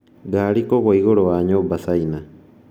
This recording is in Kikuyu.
Ngari kũgũa igũrũ wa nyũmba China